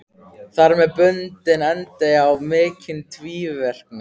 Þar með bundinn endi á mikinn tvíverknað.